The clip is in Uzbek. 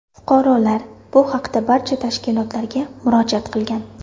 Fuqarolar bu haqda barcha tashkilotlarga murojaat qilgan.